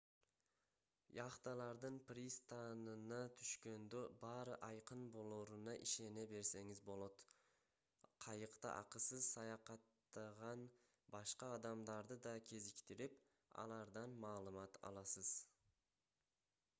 яхталардын пристанына түшкөндө баары айкын болоруна ишене берсеңиз болот кайыкта акысыз саякатттаган башка адамдарды да кезиктирип алардан маалымат аласыз